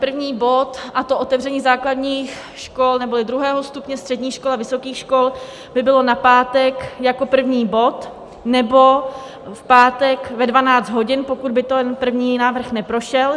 První bod, a to otevření základních škol neboli druhého stupně, středních škol a vysokých škol, by bylo na pátek jako první bod, nebo v pátek ve 12 hodin, pokud by ten první návrh neprošel.